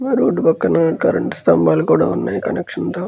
Road పక్కనే current స్తంభాలు కూడా ఉన్నాయి కనెక్షన్ తో.